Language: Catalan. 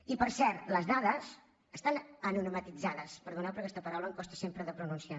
i per cert les dades estan anonimitzades perdoneu però aquesta paraula em costa sempre de pronunciar